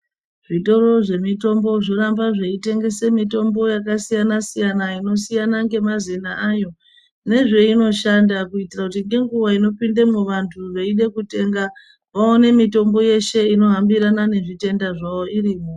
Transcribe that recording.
Zvitoro zvemitombo zvoramba zveitengese mitombo yakasiyana siyana inosiyana ngemazena ayo nezveinoshanda kuitira kuti ngenguwa inopindemwo vantu veide kutenga vaone mitombo yeshe inohambirana nezvitenda zvavo irimwo